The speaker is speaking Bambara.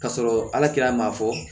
Ka sɔrɔ ala kɛ maa fɔ